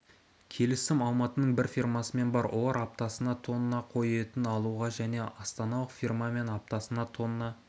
келісім алматының бір фирмасымен бар олар аптасына тонна қой етін алуға және астаналық фирмамен аптасына тонна